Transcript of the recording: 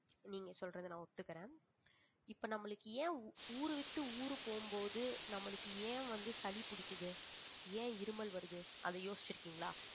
நீங்க சொல்றதை நான் ஒத்துக்குறேன் இப்ப நம்மளுக்கு ஏன் ஊரு விட்டு ஊரு போகும் போது நம்மளுக்கு ஏன் வந்து சளி பிடிக்குது ஏன் இருமல் வருது அதை யோசிச்சிருக்கீங்களா